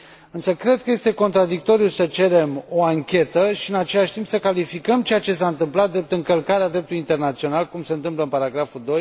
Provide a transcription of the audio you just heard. Însă cred că este contradictoriu să cerem o anchetă și, în același timp, să calificăm ceea ce s a întâmplat drept încălcarea dreptului internațional, cum se întâmplă la punctul